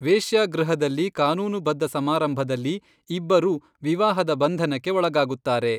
ವೇಶ್ಯಾಗೃಹದಲ್ಲಿ ಕಾನೂನುಬದ್ಧ ಸಮಾರಂಭದಲ್ಲಿ ಇಬ್ಬರೂ ವಿವಾಹದ ಬಂಧನಕ್ಕೆ ಒಳಗಾಗುತ್ತಾರೆ.